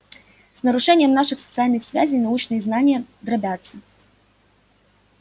с нарушением наших социальных связей научные знания дробятся